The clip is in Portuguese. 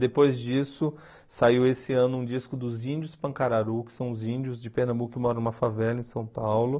Depois disso, saiu esse ano um disco dos Índios Pancararu, que são os índios de Pernambuco que moram em uma favela em São Paulo.